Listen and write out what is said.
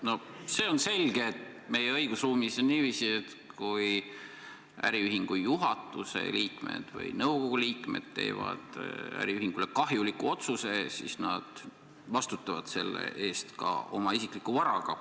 No see on selge, et meie õigusruumis on niiviisi, et kui äriühingu juhatuse liikmed või nõukogu liikmed teevad äriühingule kahjuliku otsuse, siis nad vastutavad selle eest oma isikliku varaga.